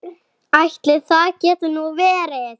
Ætli það geti nú verið.